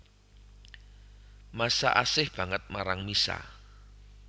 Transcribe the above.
Masha asih banget marang Misha